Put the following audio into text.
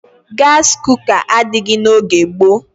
Gasị kuka adịghị n'oge gboo.